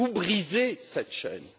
Vous brisez cette chaîne.